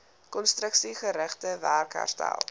konstruksiegerigte werk herstel